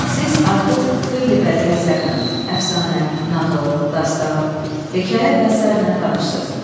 Siz artıq xeyli bədii əsərlə, əfsanə, nağıl, dastan, hekayə və sairə ilə tanışsınız.